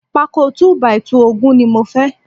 Pákó 2 by 2 ogún ni mo fẹ́